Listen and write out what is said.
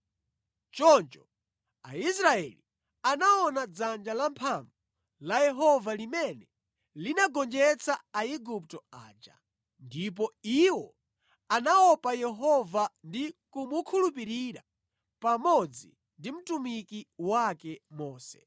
Choncho Aisraeli anaona dzanja lamphamvu la Yehova limene linagonjetsa Aigupto aja, ndipo iwo anaopa Yehova ndi kumukhulupirira pamodzi ndi mtumiki wake Mose.